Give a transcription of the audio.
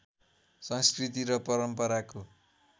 संस्कृति र परम्पराको